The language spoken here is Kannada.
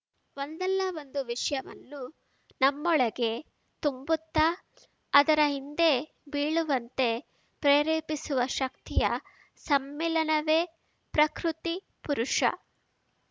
ಒಂದಲ್ಲಾ ಒಂದು ವಿಷಯವನ್ನು ನಮ್ಮೊಳಗೆ ತುಂಬುತ್ತಾ ಅದರ ಹಿಂದೆ ಬೀಳುವಂತೆ ಪ್ರೇರೇಪಿಸುವ ಶಕ್ತಿಯ ಸಮ್ಮಿಲನವೇ ಪ್ರಕೃತಿಪುರುಷ